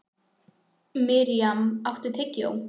Mirjam, áttu tyggjó?